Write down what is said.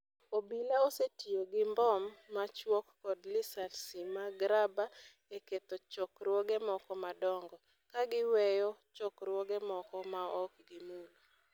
obila osetiyo gi mbom machuok kod lisasi mag raba e ketho chokruoge moko madongo, ka giweyo chokruoge moko maok gimulo.